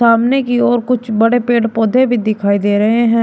सामने की और कुछ बड़े पेड़ पौधे भी दिखाई दे रहे हैं।